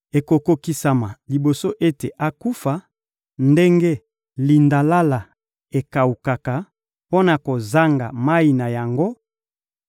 Ekokokisama liboso ete akufa, ndenge lindalala ekawukaka mpo na kozanga mayi na yango